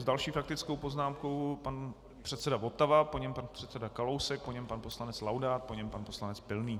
S další faktickou poznámkou pan předseda Votava, po něm pan předseda Kalousek, po něm pan poslanec Laudát, po něm pan poslanec Pilný.